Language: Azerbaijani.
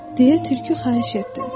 Deyə tülkü xahiş etdi.